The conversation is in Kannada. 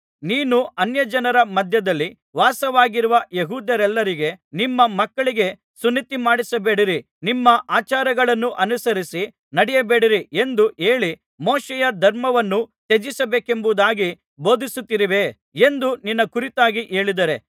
ನೀನು ಅನ್ಯಜನರ ಮಧ್ಯದಲ್ಲಿ ವಾಸವಾಗಿರುವ ಯೆಹೂದ್ಯರೆಲ್ಲರಿಗೆ ನಿಮ್ಮ ಮಕ್ಕಳಿಗೆ ಸುನ್ನತಿಮಾಡಿಸಬೇಡಿರಿ ನಿಮ್ಮ ಆಚಾರಗಳನ್ನು ಅನುಸರಿಸಿ ನಡೆಯಬೇಡಿರಿ ಎಂದು ಹೇಳಿ ಮೋಶೆಯ ಧರ್ಮವನ್ನು ತ್ಯಜಿಸಬೇಕೆಂಬುದಾಗಿ ಬೋಧಿಸುತ್ತಿರುವೆ ಎಂದು ನಿನ್ನ ಕುರಿತಾಗಿ ಹೇಳಿದ್ದಾರೆ